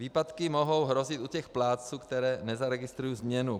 Výpadky mohou hrozit u těch plátců, kteří nezaregistrují změnu.